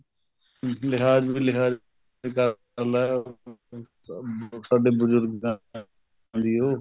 ਲਿਹਾਜ ਲਿਹਾਜ ਕਰਲਾ ਸਾਡੇ ਬਜੁਰਗਾਂ ਦੀ ਉਹ